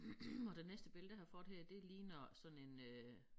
Og det næste billede jeg har fået her det ligner sådan en øh